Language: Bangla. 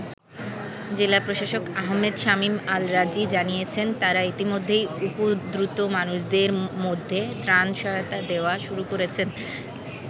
জেলা প্রশাসক আহমেদ শামীম আল রাজী জানিয়েছেন তারা ইতিমধ্যেই উপদ্রুত মানুষদের মধ্যে ত্রাণ সহায়তা দেওয়া শুরু করেছেন।